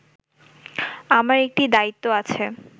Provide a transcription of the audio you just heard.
আমার একটি দায়িত্ব আছে